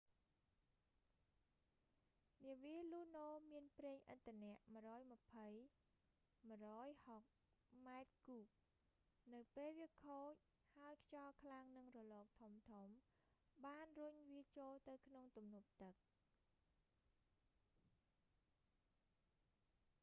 នាវា luno មានប្រេងឥន្ធនៈ 120-160 ម៉ែត្រគូប នៅពេលវាខូច ហើយខ្យល់ខ្លាំងនិងរលកធំៗ បានរុញវាចូលទៅក្នុងទំនប់ទឹក